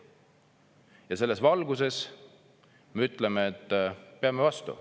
Ja selles valguses me ütleme, et peame vastu.